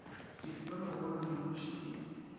ke se be mogolomonoši ke